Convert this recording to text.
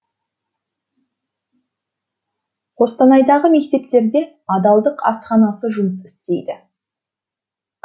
қостанайдағы мектептерде адалдық асханасы жұмыс істейді